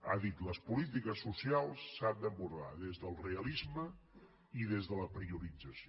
ha dit les polítiques socials s’han d’abordar des del realisme i des de la priorització